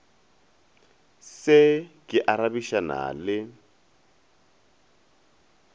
se ke a arabišana le